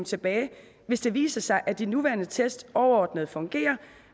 tilbage hvis det viser sig at de nuværende test overordnet fungerer